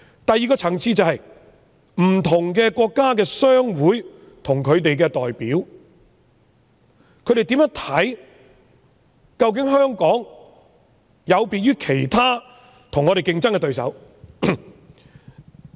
第二個層次，是不同國家的商會及其代表究竟是否認為香港有別於我們的競爭對手？